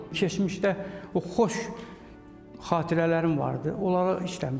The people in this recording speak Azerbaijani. Keçmişdə o xoş xatirələrim vardı, onlara işləmişəm.